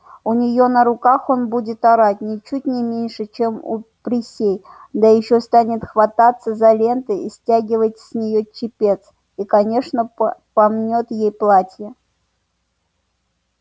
у нее на руках он будет орать ничуть не меньше чем у присей да ещё станет хвататься за ленты и стягивать с нее чепец и конечно помнёт ей платье